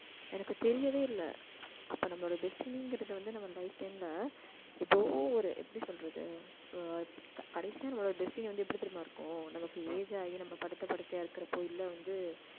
எனக்கு தெரியவே இல்ல. அப்ப நம்மளோட destiny ங்கிறது வந்து, நம்ம life time ல ஏதோ ஒரு எப்படி சொல்றது ஆஹ் கடைசியா நம்மளோட destiny வந்து, எப்படி தெரியுமா இருக்கும் நமக்கு age ஆயி நம்ம படுத்த படுக்கையா இருக்கிறப்போ இல்லை வந்து